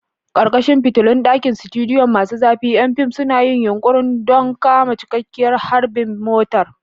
Ƙarƙashin fitilun ɗakin studio masu zafi, ƴan fim suna yin yunƙuri don kama cikakkiyar harbin motar.